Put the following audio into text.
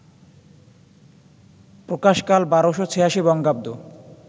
প্রকাশকাল ১২৮৬ বঙ্গাব্দ